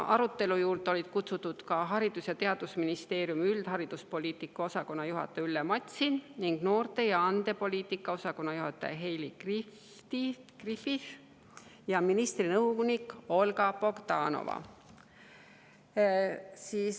Arutelu juurde olid kutsutud Haridus‑ ja Teadusministeeriumi üldhariduspoliitika osakonna juhataja Ülle Matsin ning noorte- ja andepoliitika osakonna juhataja Heili Griffith ja ministri nõunik Olga Bogdanova.